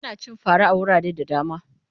Ana cin fara a wurare da dama.